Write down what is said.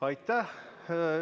Aitäh!